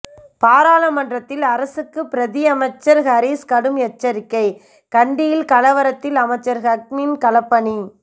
பாராளுமன்றத்தில் அரசுக்கு பிரதி அமைச்சர் ஹரீஸ் கடும் எச்சரிக்கை கண்டியில் கலவரத்தில் அமைச்சர் ஹக்கீமின் களப்பணி